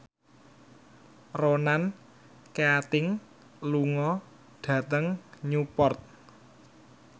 Ronan Keating lunga dhateng Newport